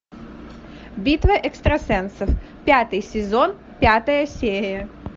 битва экстрасенсов пятый сезон пятая серия